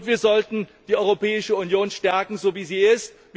Wir sollten die Europäische Union stärken, so wie sie ist.